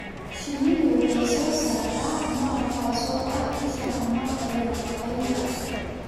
Shinnidu waxay soo saartaa malab, kaas oo ah isha tamarta iyo nafaqeynta.